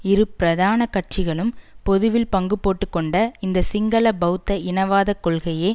இரு பிரதானக் கட்சிகளும் பொதுவில் பங்கு போட்டுக்கொண்ட இந்த சிங்கள பெளத்த இனவாத கொள்கையே